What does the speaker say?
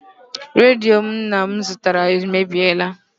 Redio nna m zụtara emebiela.